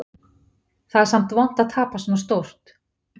Það er samt vont að tapa svona stórt.